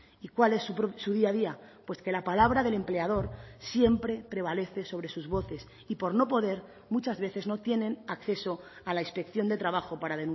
y cuál es su día a día pues que la palabra del empleador siempre prevalece sobre sus voces y por no poder muchas veces no tienen acceso a la inspección de trabajo para